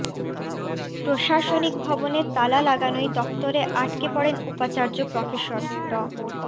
প্রশাসনিক ভবনে তালা লাগানোয় দপ্তরে আটকে পড়েন উপাচার্য প্রফেসর ড